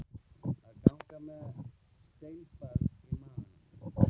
Að ganga með steinbarn í maganum